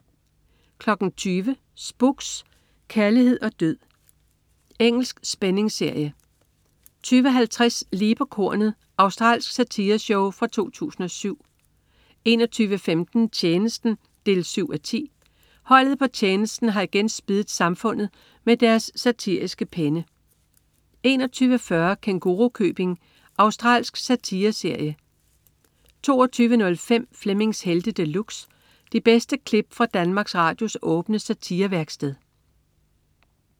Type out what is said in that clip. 20.00 Spooks: Kærlighed og død. Engelsk spændingsserie 20.50 Lige på kornet. Australsk satireshow fra 2007 21.15 Tjenesten 7:10. Holdet på Tjenesten har igen spiddet samfundet med deres satiriske penne 21.40 Kængurukøbing. Australsk satireserie 22.05 Flemmings Helte De Luxe. De bedste klip fra Danmarks Radios åbne satirevæksted